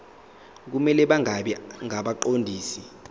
kumele bangabi ngabaqondisi